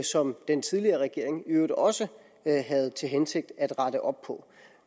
som den tidligere regering i øvrigt også havde til hensigt at rette op på